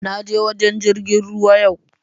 naje wajen jirgin ruwa yau